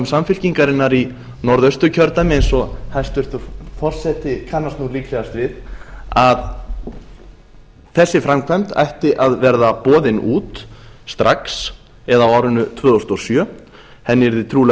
samfylkingarinnar í norðausturkjördæmi eins og hæstvirtur forseti kannast nú líklegast við að þessi framkvæmd ætti að vera boðin út strax eða á árinu tvö þúsund og sjö henni yrði trúlega